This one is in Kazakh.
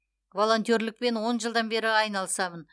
волонтерлікпен он жылдан бері айналысамын